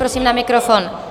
Prosím na mikrofon.